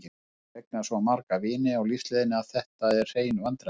Ég hef eignast svo marga vini á lífsleiðinni að þetta eru hrein vandræði.